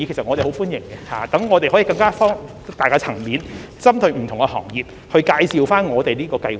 我們很歡迎這些會議，讓我們可以擴大接觸層面，針對不同行業介紹這項計劃。